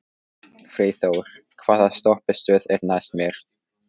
Freyþór, hvaða stoppistöð er næst mér?